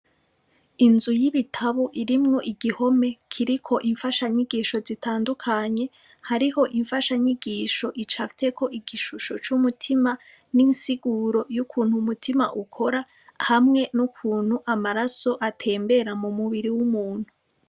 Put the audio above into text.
Inzu yibitabo irimwo igihome kiriko imfasha nyigisho zitandukanye hariho imfasha nyigisho icafyeko igishusho c'umutima ninsiguro yukuntu umutima ukora hamwe nukuntu amaraso atembera mu mubiri wumuntu.